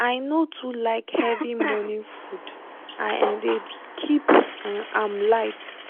i no too like heavy morning food i um dey keep um am light